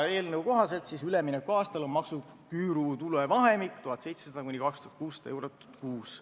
Eelnõu kohaselt on üleminekuaastal maksuküüru tuluvahemik 1700–2600 eurot kuus.